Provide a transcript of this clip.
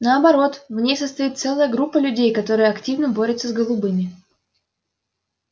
наоборот в ней состоит целая группа людей которая активно борется с голубыми